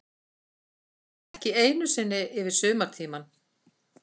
Ekki einu sinni yfir sumartímann.